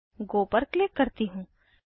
गो पर क्लिक करती हूँ